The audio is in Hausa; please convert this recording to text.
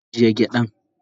agiye gyadan.